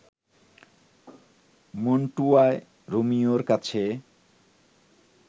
মন্টুয়ায় রোমিওর কাছে